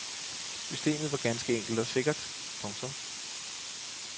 Systemet var ganske enkelt og sikkert. punktum